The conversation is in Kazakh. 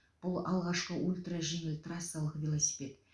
бұл алғашқы ультра жеңіл трассалық велосипед